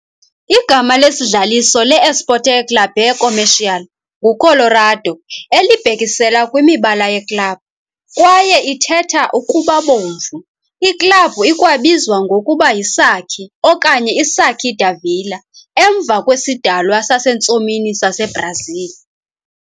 Igama lesidlaliso le-Esporte Clube Comercial "nguColorado", elibhekisela kwimibala yeklabhu, kwaye ithetha "ukuba Ubomvu". Iklabhu ikwabizwa ngokuba yiSaci, okanye iSaci da Vila, emva kwesidalwa sasentsomini saseBrazil.